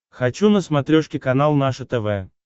хочу на смотрешке канал наше тв